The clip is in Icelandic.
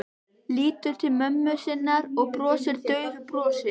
Lítur til mömmu sinnar og brosir daufu brosi.